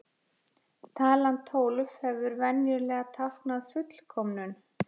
Talan tólf hefur venjulega táknað fullkomnum.